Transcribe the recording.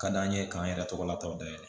Ka d'an ye k'an yɛrɛ tɔgɔ lataw dayɛlɛ